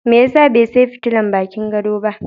Mai ya sa bai sayi teurin bakin gado ba?